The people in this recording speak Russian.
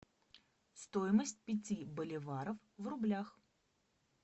стоимость пяти боливаров в рублях